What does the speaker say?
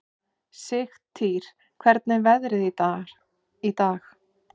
Sigtýr, hvernig er veðrið í dag?